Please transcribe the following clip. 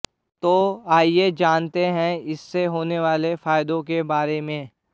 तो आइये जानते हैं इससे होने वाले फायदों के बारे में